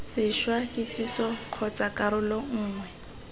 sešwa kitsiso kgotsa karolo nngwe